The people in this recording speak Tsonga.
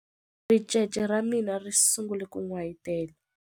Ricece ra mina ri sungule ku n'wayitela.